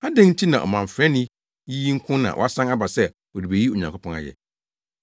Adɛn nti na ɔmamfrani yi nko na wasan aba sɛ ɔrebeyi Onyankopɔn ayɛ?”